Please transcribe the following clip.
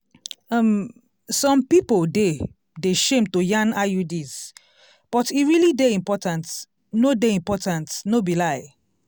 um some pipo dey de shame to yan iuds but e realli dey important no dey important no be lai